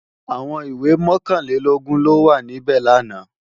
Àwọn ìwé mọ̀kànlélọ́gọ́rùn ló wà níbẹ̀ làná